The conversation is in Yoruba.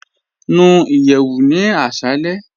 Nú ìyẹwù ní àṣàlẹ̀.